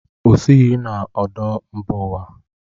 O sighị na ọdụ mba ụwa.